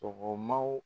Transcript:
Sɔgɔmaw